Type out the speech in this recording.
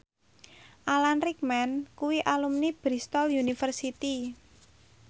Alan Rickman kuwi alumni Bristol university